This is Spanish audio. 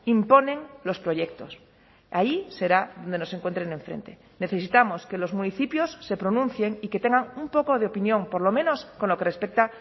imponen los proyectos ahí será donde nos encuentren enfrente necesitamos que los municipios se pronuncien y que tengan un poco de opinión por lo menos con lo que respecta